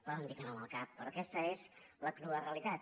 poden dir que no amb el cap però aquesta és la crua realitat